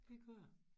Det kører